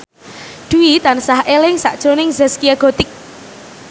Dwi tansah eling sakjroning Zaskia Gotik